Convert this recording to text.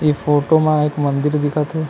ए photo म एक मंदिर दिखा थे ।